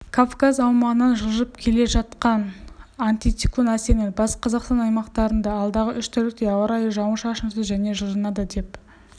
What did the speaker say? кавказ аумағынан жылжып келе жатқанантициклон әсерінен батыс қазақстан аймақтарындаалдағы уш тәулікте ауа райыжауын-шашынсыз және жылынады деп